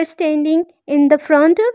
Standing in the front.